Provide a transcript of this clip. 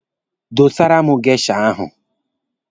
Dọsara m geisha ahụ!